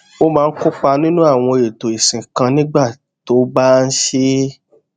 ó máa ń kópa nínú àwọn èètò ìsìn kan nígbà tó bá ń ṣe é